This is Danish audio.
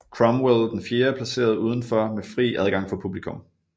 Cromwell IV placeret udenfor med fri adgang for publikum